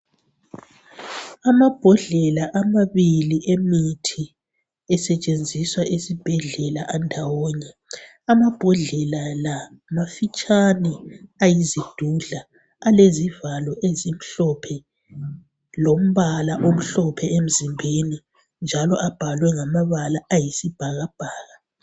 Amabhodlela amabili emithi esetshenziswa esibhedlela andawonye amabhodlela la mafitshane ayizidudla alezivalo ezimhlophe lompala omhlophe emzimbeni njalo abhalwe ngamabala ayisibhakabhaka.